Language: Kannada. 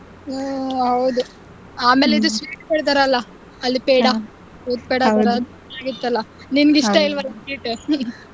ಹ್ಮ್ ಹೌದು ಆಮೇಲೆ ಅದು sweet ಕೊಡ್ತಾರಲ್ಲ ಅಲ್ಲಿ ಪೇಡ दूध ಪೇಡ ನಿಂಗೆ ಇಷ್ಟ ಅಲ್ವಾ ಅದು sweet .